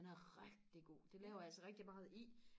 den er rigtig god den laver jeg altså rigtig meget i